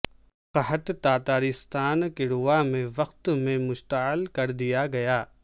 قحط تاتارستان کڑوا میں وقت میں مشتعل کر دیا گیا